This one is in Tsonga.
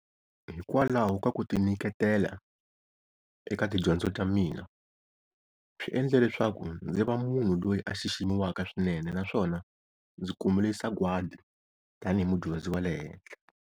Hi kwalaho ka kuti niketela eka tidyondzo ta mina, swi endle leswaku ndzi va munhu loyi a xiximiwaka swinene naswona ndzi kumile sagwadi tanihi mudyondzi wa le henhla.